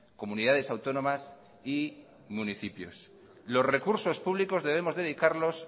comunidades autónomas y municipios los recursos públicos debemos dedicarlos